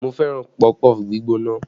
Mo fẹ́ràn pọfupọ́ọ̀fù gbígbóná